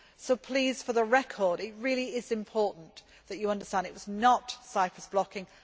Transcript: So please, for the record, it really is important that you understand that it was not Cyprus blocking.